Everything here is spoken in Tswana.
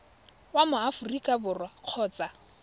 wa mo aforika borwa kgotsa